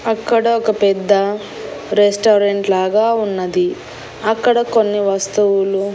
అక్కడ ఒక పెద్ద రెస్టారెంట్ లాగా ఉన్నది అక్కడ కొన్ని వస్తువులు.